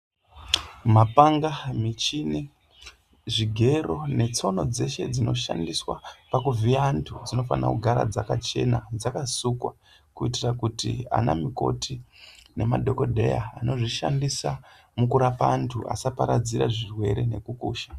Mapanga ,michini, zvigero, netsono dzeshe dzinoshandiswa pakuvhiya antu, dzinofana kugara dzakachena, dzakasukwa ,kuitira kuti anamukoti nemadhokodheya anozvishandisa mukurapa antu, asaparadzire zvirwere nekukusha.